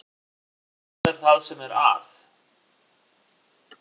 Hvað er það sem er að?